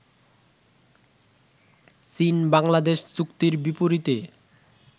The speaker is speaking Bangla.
চীন-বাংলাদেশ চুক্তির বিপরীতে